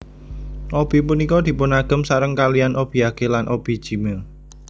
Obi punika dipunagem sareng kalihan obiage lan obijime